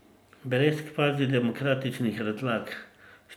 Brez kvazidemokratičnih razlag.